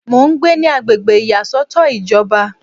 Mo ń gbé ní agbègbè ìyàsọ́tọ̀ ìjọba